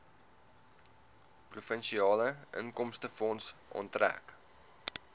provinsiale inkomstefonds onttrek